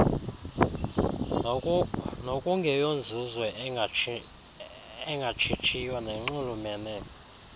nokungeyonzuzo engatshitshiyo nenxulumene